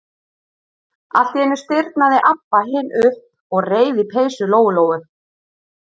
Allt í einu stirðnaði Abba hin upp og reif í peysu Lóu-Lóu.